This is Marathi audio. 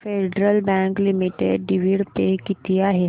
federal bank limited dividend pay किती आहे